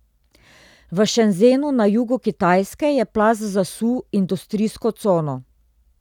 V Šenzenu na jugu Kitajske je plaz zasul industrijsko cono.